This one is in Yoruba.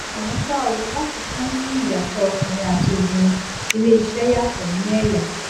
àmọ ṣá o láfikún sí ìyàtọ ọkùnrin àti obìnrin iléeṣẹ yàtọ ní ẹyà